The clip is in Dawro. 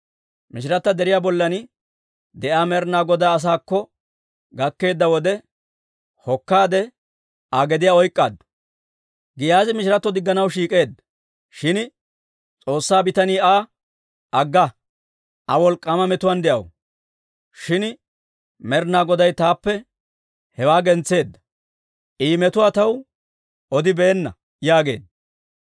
Mishirata deriyaa bollan de'iyaa Med'ina Godaa asaakko gakkeedda wode, hokkaade Aa gediyaa oyk'k'aaddu. Giyaazi mishiratto digganaw shiik'eedda; shin S'oossaa bitanii Aa, «Agga! Aa wolk'k'aama metuwaan de'aw; shin Med'inaa Goday taappe hewaa gentseedda. I metuwaa taw odibeenna» yaageedda.